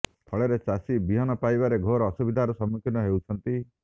ଫଳରେ ଚାଷୀ ବିହନ ପାଇବାରେ ଘୋର ଅସୁବିଧାର ସମ୍ମୁଖୀନ ହେଉଛନ୍ତି